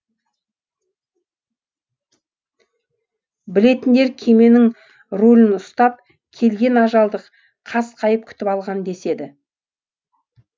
білетіндер кеменің рулін ұстап келген ажалды қасқайып күтіп алған деседі